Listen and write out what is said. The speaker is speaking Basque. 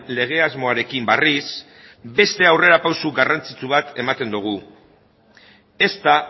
lege asmoarekin berriz beste aurrera pausu garrantzitsu bat ematen dugu ez da